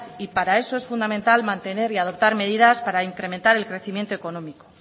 y para eso es fundamental mantener y adoptar medidas para incrementar el crecimiento económico